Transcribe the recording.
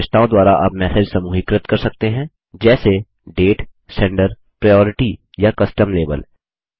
विशेषताओं द्वारा आप मैसेज समूहीकृत कर सकते हैं जैसे डेट senderप्रायोरिटी या कस्टम लाबेल